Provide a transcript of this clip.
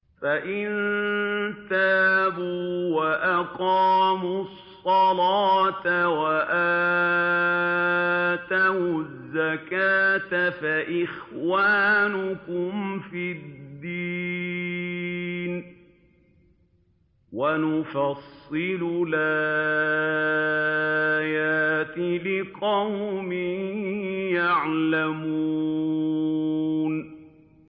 فَإِن تَابُوا وَأَقَامُوا الصَّلَاةَ وَآتَوُا الزَّكَاةَ فَإِخْوَانُكُمْ فِي الدِّينِ ۗ وَنُفَصِّلُ الْآيَاتِ لِقَوْمٍ يَعْلَمُونَ